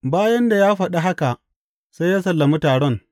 Bayan da ya faɗi haka, sai ya sallami taron.